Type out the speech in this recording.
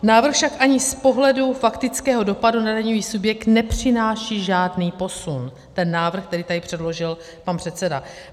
Návrh však ani z pohledu faktického dopadu na daňový subjekt nepřináší žádný posun, ten návrh, který tady předložil pan předseda.